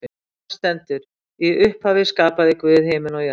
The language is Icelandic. Þar stendur: Í upphafi skapaði Guð himin og jörð.